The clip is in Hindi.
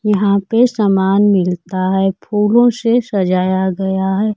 यहां पे समान मिलता है फूलों से सजाया गया है।